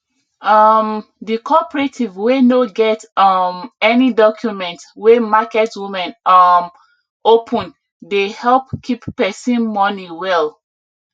um the cooperative wey no get um any document wey market women um open dey help keep pesin money well